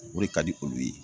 O de ka di olu ye.